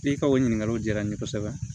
I ka o ɲininkaliw diyara n ye kosɛbɛ